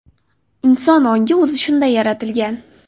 Inson ongi o‘zi shunday yaratilgan.